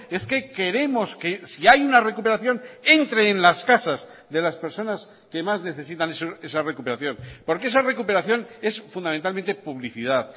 es que queremos que si hay una recuperación entre en las casas de las personas que más necesitan esa recuperación porque esa recuperación es fundamentalmente publicidad